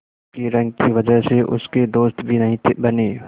उसकी रंग की वजह से उसके दोस्त भी नहीं बने